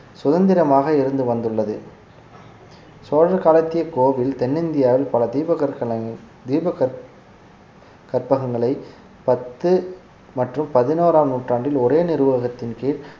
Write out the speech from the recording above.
சுதந்திரமாக இருந்து வந்துள்ளது சோழர் காலத்திய கோவில் தென்னிந்தியாவில் பல தீப கற்கல~ தீப கற்~ கற்பகங்களை பத்து மற்றும் பதினோறாம் நூற்றாண்டில் ஒரே நிர்வாகத்தின் கீழ்